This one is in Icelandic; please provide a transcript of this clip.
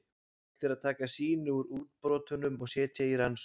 Hægt er að taka sýni úr útbrotunum og setja í rannsókn.